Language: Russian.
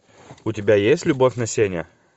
у тебя есть любовь на сене